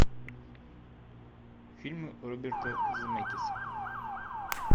фильмы роберта земекиса